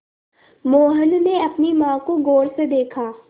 मोहन ने अपनी माँ को गौर से देखा